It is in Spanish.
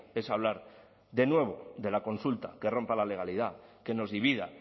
es a hablar de nuevo de la consulta que rompa la legalidad que nos divida